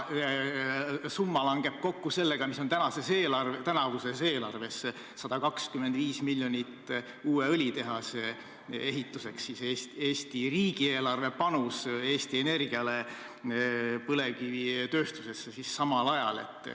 Summa 125 miljonit langeb kokku sellega, mis on tänavuse Eesti riigieelarve panus Eesti Energiale uue õlitehase ehituseks.